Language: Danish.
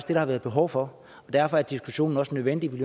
har været behov for og derfor er diskussionen også nødvendig vi